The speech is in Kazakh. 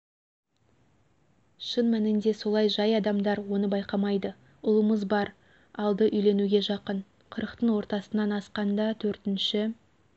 шын мәнінде солай жай адамдар оны байқамайды ұлымыз бар алды үйленуге жақын қырықтың ортасынан асқанда төртінші